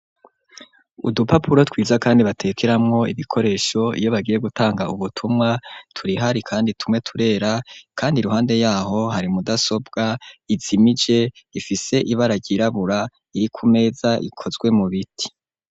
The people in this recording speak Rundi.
Udupapuro twiza kandi batekeramwo ibikoresho iyo bagiye gutanga ubutumwa turahari kandi tumwe turera kandi iruhande yaho hari mudasobwa izimije ifise ibara ryirabura iri ku meza ikozwe mu biti.